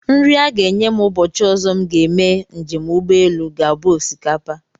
Nri a ga-enye m ụbọchị ọzọ m ga-eme njem ụgbọelu ga-abụ osikapa